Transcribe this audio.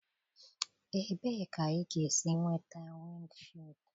Ebee ka ị ga-esi nweta windshịld?